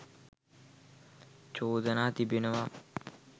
චෝදනා තිබෙනවා.